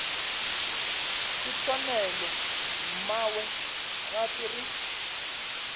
ke tshwanelo mmawe gape re